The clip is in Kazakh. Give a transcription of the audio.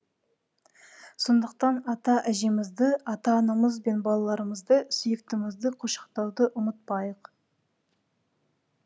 сондықтан ата әжемізді ата анамыз бен балаларымызды сүйіктімізді құшақтауды ұмытпайық